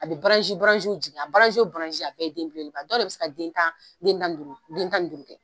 A bɛ jigin a a bɛɛ den belebeleba dɔ de bɛ se ka den tan den tan ni duuru den tan ni duuru kɛ.